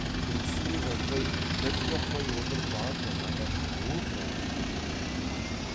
күлкісінен жазбай міз бақпай отырып бар жазаны оп оңай көтеріп кетеді